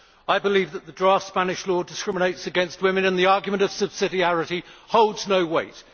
I believe that the draft Spanish law discriminates against women, and the argument of subsidiarity holds no weight.